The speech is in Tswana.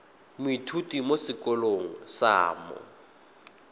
moithuti mo sekolong sa mo